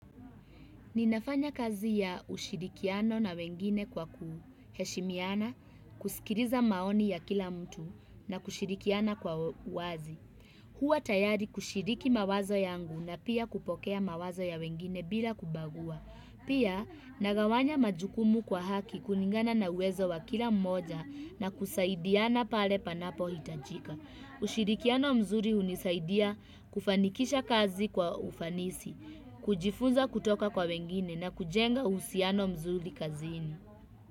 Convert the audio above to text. Ninafanya kazi ya ushirikiano na wengine kwa kuheshimiana, kusikiliza maoni ya kila mtu na kushirikiana kwa uwazi. Huwa tayari kushiriki mawazo yangu na pia kupokea mawazo ya wengine bila kubagua. Pia nagawanya majukumu kwa haki kulingana na uwezo wa kila mmoja na kusaidiana pale panapohitajika. Ushirikiano mzuri hunisaidia kufanikisha kazi kwa ufanisi, kujifunza kutoka kwa wengine na kujenga usiano mzuri kazini.